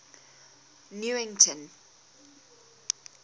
newington